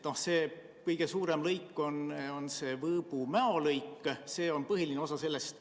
Kõige suurem lõik on Võõbu–Mäo lõik, see on põhiline osa sellest.